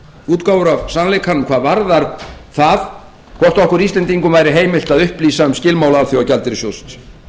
útgáfur af sannleikanum hvað varðar það hvort okkur íslendingum væri heimilt að upplýsa um skilmála alþjóðagjaldeyrissjóðsins